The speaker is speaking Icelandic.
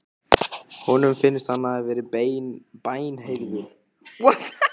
Honum finnst hann hafa verið bænheyrður.